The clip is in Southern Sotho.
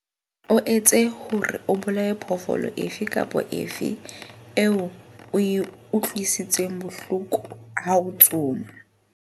O etse hore o bolaye phoofolo efe kapa efe eo o e utlwisitseng bohloko ha o tsoma.